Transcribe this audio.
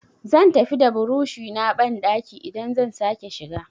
Zan tafi da burushi na banɗaki idan zan sake shiga.